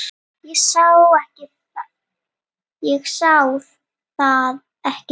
Ég sá það ekki þá.